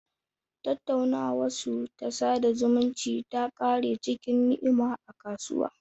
Tattaunawarsu ta sada zumunci ta kare cikin ni'ima a kasuwa.